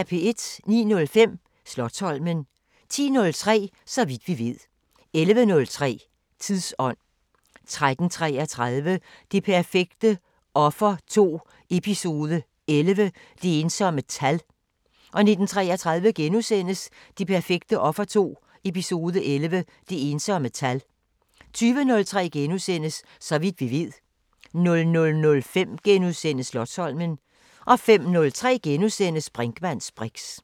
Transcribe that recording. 09:05: Slotsholmen 10:03: Så vidt vi ved 11:03: Tidsånd 13:33: Det perfekte offer 2 – Eps. 11 – Det ensomme tal 19:33: Det perfekte offer 2 – Eps. 11 – Det ensomme tal * 20:03: Så vidt vi ved * 00:05: Slotsholmen * 05:03: Brinkmanns briks *